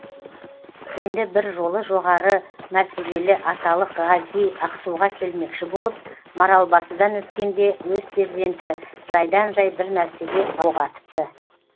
енді бір жолы жоғары мәртебелі аталық ғази ақсуға келмекші болып маралбасыдан өткенде өз перзенті жайдан жай бір нәрсеге оқ атыпты